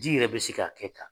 Di yɛrɛ bɛ se k'a kɛ ka